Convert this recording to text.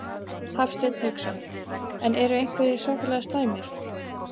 Hafsteinn Hauksson: En eru einhverjir svakalega slæmir?